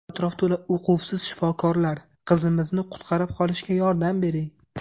Atrof to‘la uquvsiz shifokorlar... Qizimizni qutqarib qolishga yordam bering!